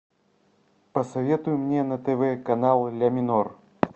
посоветуй мне на тв канал ля минор